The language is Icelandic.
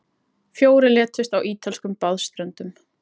Fjórir létust á ítölskum baðströndum